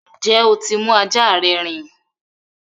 Njẹ tí mú ajá rẹ rìn?